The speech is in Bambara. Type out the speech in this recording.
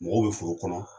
Mɔgɔw bɛ foro kɔnɔ